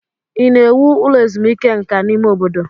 Ị na-ewu ụlọ ezumike nka n'ime obodo?